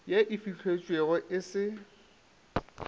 ye e fihletšwego e se